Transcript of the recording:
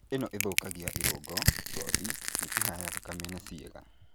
Ino ĩthũkagia irũngo, gothi, mĩkiha ya thakame and ciĩga.